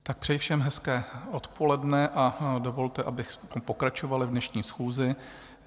Tak přeji všem hezké odpoledne a dovolte, abych pokračoval v dnešní schůzi.